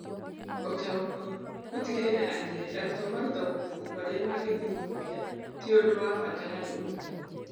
Ũtaũku: Gũtigĩrĩra atĩ arutwo marutagwo mabuku marĩa mangĩthuthuria, ti ũndũ wa bata harĩ ũrutani.